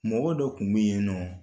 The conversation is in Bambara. Mɔgɔ dɔ kun be yennɔɔ